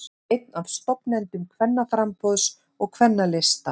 Einn af stofnendum Kvennaframboðs og Kvennalista